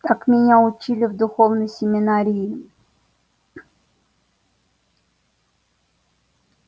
так меня учили в духовной семинарии